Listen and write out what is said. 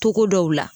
Togo dɔw la